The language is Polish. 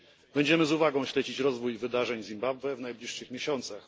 Będziemy z uwagą śledzić rozwój wydarzeń w Zimbabwe w najbliższych miesiącach.